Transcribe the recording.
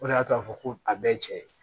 O de y'a to a fɔ ko a bɛɛ ye cɛ ye